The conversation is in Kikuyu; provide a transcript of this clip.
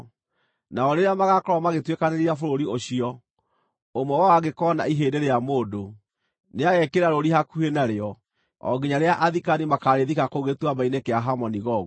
Nao rĩrĩa magaakorwo magĩtuĩkanĩria bũrũri ũcio, ũmwe wao angĩkoona ihĩndĩ rĩa mũndũ, nĩagekĩra rũũri hakuhĩ narĩo o nginya rĩrĩa athikani makaarĩthika kũu Gĩtuamba-inĩ kĩa Hamoni-Gogu.